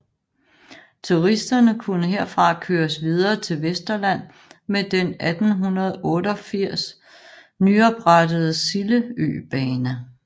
Turisterne kunne herfra køres videre til Vesterland med den 1888 nyoprettede Sild Øbane